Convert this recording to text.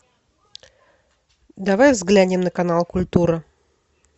давай взглянем на канал культура